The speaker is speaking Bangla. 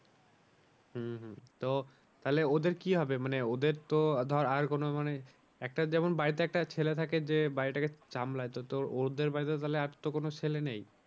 হম হম তো তাহলে ওদের কি হবে মানে ওদের তো ধর আর কোনো মানে একটা যেমন বাড়িতে একটা ছেলে থাকে যে বাড়িটাকে সামলায় তো ওদের বাড়িতে তাহলে আর তো কোনো ছেলে নেই